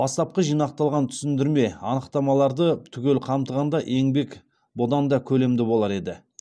бастапқы жинақталған түсіндірме анықтамаларды түгел қамтығанда еңбек бұдан да көлемді болар еді